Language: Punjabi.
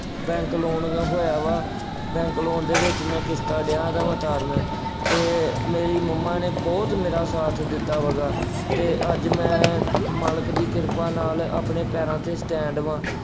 bank loan ਹੋਇਆ ਵਾ। bank loan ਦੇ ਵਿੱਚ ਮੈਂ ਕਿਸ਼ਤਾਂ ਡਿਆਂ ਵਾ ਉਤਾਰਦਾਂ ਅਤੇ ਮੇਰੀ ਮੰਮਾ ਨੇ ਬਹੁਤ ਮੇਰਾ ਸਾਥ ਦਿੱਤਾ ਹੈਗਾ ਅਤੇ ਅੱਜ ਮੈੰ ਮਾਲਕ ਦੀ ਕਿਰਪਾ ਨਾਲ ਆਪਣੇ ਪੈਰਾਂ ਤੇ stand ਵਾਂ।